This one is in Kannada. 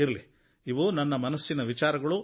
ಇರಲಿ ಇವು ನನ್ನ ಮನಸ್ಸಿನ ವಿಚಾರಗಳು